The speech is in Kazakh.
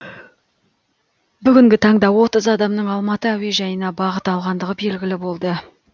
бүгінгі таңда отыз адамның алматы әуежайына бағыт алғандығы белгілі болды